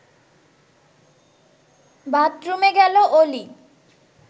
বাথরুমে গেল অলি